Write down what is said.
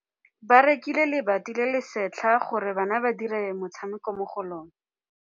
Ba rekile lebati le le setlha gore bana ba dire motshameko mo go lona.